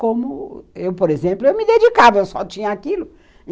Como eu, por exemplo, me dedicava, eu só tinha aquilo.